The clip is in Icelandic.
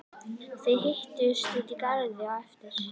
Þið hittist úti í garði á eftir.